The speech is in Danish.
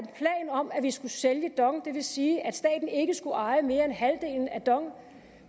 om at vi skulle sælge dong det vil sige at staten ikke skulle eje mere end halvdelen af dong